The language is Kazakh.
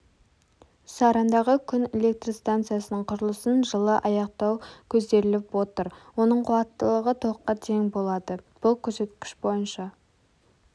сарандағы күн электрстанциясының құрылысын жылы аяқтау көзделіп отыр оның қуаттылығы т-қа тең болады бұл көрсеткіш бойынша